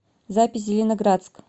запись зеленоградск